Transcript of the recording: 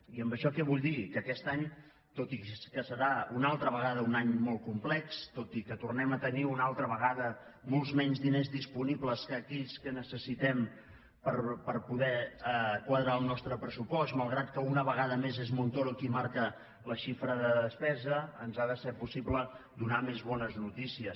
i amb això què vull dir que aquest any tot i que serà una altra vegada un any molt complex tot i que tornem a tenir una altra vegada molts menys diners disponibles que aquells que necessitem per poder quadrar el nostre pressupost malgrat que una vegada més és montoro qui marca la xifra de despesa ens ha de ser possible donar més bo·nes notícies